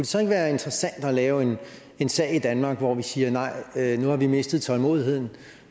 så ikke være interessant at lave en sag i danmark hvor vi siger nej nu har vi mistet tålmodigheden